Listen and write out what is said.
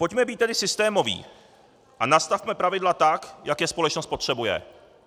Pojďme být tedy systémoví a nastavme pravidla tak, jak je společnost potřebuje.